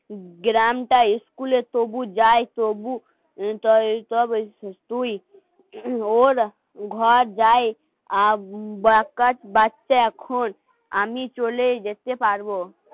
গ্রামটায় সবুজ যায় সবুজ. সব এই দুই. ঘর যাই বকাট বাচ্চা এখন আমি চলেই যেতে পারবো